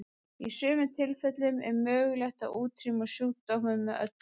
Í sumum tilfellum er mögulegt að útrýma sjúkdómum með öllu.